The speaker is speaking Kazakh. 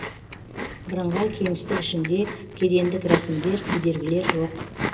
бірыңғай кеңістік ішінде кедендік рәсімдер кедергілер жоқ